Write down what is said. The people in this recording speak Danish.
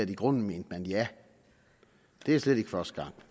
i grunden mente ja det er slet ikke første gang